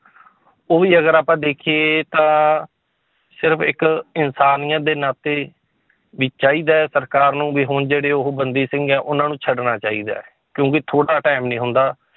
ਉਹ ਵੀ ਅਗਰ ਆਪਾਂ ਦੇਖੀਏ ਤਾਂ ਸਿਰਫ਼ ਇੱਕ ਇਨਸਾਨੀਅਤ ਦੇ ਨਾਤੇ ਵੀ ਚਾਹੀਦਾ ਹੈ ਸਰਕਾਰ ਨੂੰ ਵੀ ਹੁਣ ਜਿਹੜੇ ਉਹ ਬੰਦੀ ਸਿੰਘ ਹੈ ਉਹਨਾਂ ਨੂੰ ਛੱਡਣਾ ਚਾਹੀਦਾ ਹੈ, ਕਿਉਂਕਿ ਥੋੜ੍ਹਾ time ਨੀ ਹੁੰਦਾ